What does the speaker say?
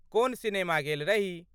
कोन सिनेमा गेल रही?